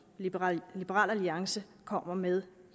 liberal alliance kommer med